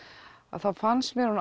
þá fannst mér